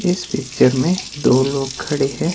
इस पिक्चर मे दो लोग खड़े है।